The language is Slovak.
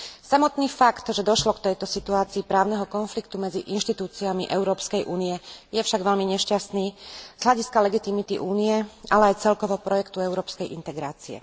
Samotný fakt, že došlo k tejto situácii právneho konfliktu medzi inštitúciami Európskej únie, je však veľmi nešťastný z hľadiska legitimity Únie, ale aj celkovo projektu európskej integrácie.